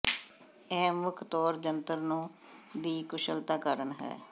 ਇਹ ਮੁੱਖ ਤੌਰ ਜੰਤਰ ਨੂੰ ਦੀ ਕੁਸ਼ਲਤਾ ਕਾਰਨ ਹੈ